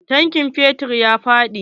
Tankin fetur ya faɗi.